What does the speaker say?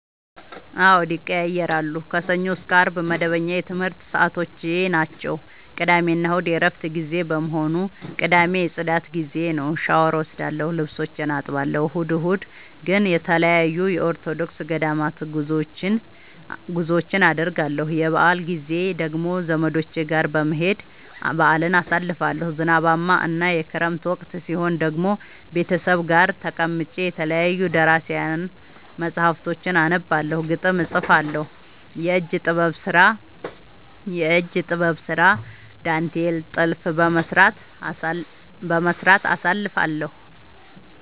አዎድ ይቀየያራሉ። ከሰኞ እስከ አርብ መደበኛ የትምረት ሰዓቶቼናቸው ቅዳሜና እሁድ የእረፍት ጊዜ በመሆኑ። ቅዳሜ የፅዳት ጊዜዬ ነው። ሻውር እወስዳለሁ ልብሶቼን አጥባለሁ። እሁድ እሁድ ግን ተለያዩ የኦርቶዶክስ ገዳማት ጉዞወችን አደርገለሁ። የበአል ጊዜ ደግሞ ዘመዶቼ ጋር በመሄድ በአልን አሳልፋለሁ። ዝናባማ እና የክረምት ወቅት ሲሆን ደግሞ ቤተሰብ ጋር ተቀምጬ የተለያዩ ደራሲያን መፀሀፍቶችን አነባለሁ፤ ግጥም እጥፋለሁ፤ የእጅ ጥበብ ስራ ዳንቴል ጥልፍ በመስራት አሳልፍለሁ።